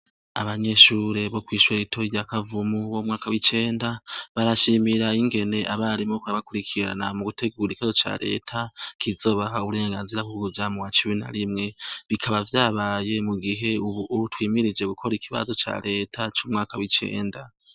Abanyeshure bo kwishure ritoyi rya Kavumu bo mumwaka w' icenda barashimira ingene abarimu ingene barabakurikirana mugutegura ikibazo ca reta kizobaha uburengazira bwo kuja muwa cumi na rimwe bikaba vyabaye mugihe ubu twimirije gukora ikibazo ca reta c' umwaka w' icenda.